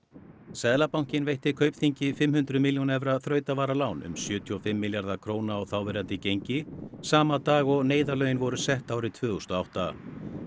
seðlabankinn veitti Kaupþingi fimm hundruð milljóna evra þrautavaralán um sjötíu og fimm milljarða króna miðað þáverandi gengi sama dag og neyðarlögin voru sett árið tvö þúsund og átta